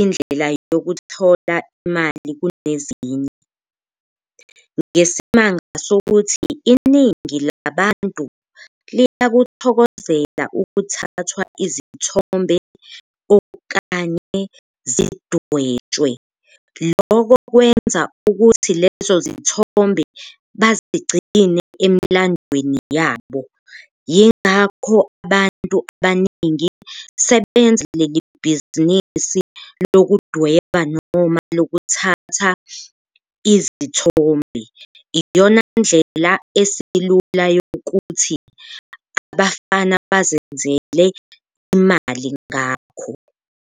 indlela yokuthola imali kunezinye, ngesimanga sokuthi iningi labantu liyakuthokozela ukuthathwa izithombe okanye sidwetshwe, loko kwenza ukuthi lezo zithombe bazigcine emlandweni yabo. Yingakho abantu abaningi sebenza lelibhizinisi lokudweba noma lokuthatha izithombe, iyona ndlela esilula yokuthi abafana bazenzele imali ngakho.